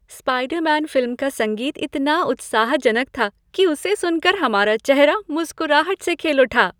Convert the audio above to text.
Spiderman film का संगीत इतना उत्साहजनक था कि उसे सुन कर हमारा चेहरा मुस्कराहट से खिल उठा।